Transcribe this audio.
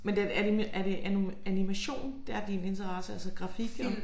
Men den er det er det animation der er din interesse? Altså grafik og